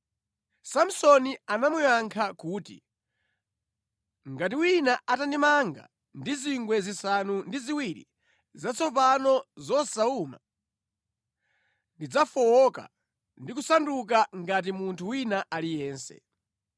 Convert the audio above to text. Samsoni anamuyankha kuti, “Ngati wina atandimanga ndi zingwe zisanu ndi ziwiri zatsopano zosawuma, ndidzafowoka ndi kusanduka ngati munthu wina aliyense.”